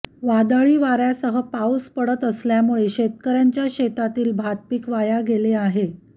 वादळी वार्यासह पाऊस पडत असल्यामुळे शेतकर्यांच्या शेतातील भातपीक वाया गेले आहे